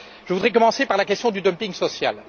Je voudrais commencer par la question du dumping social.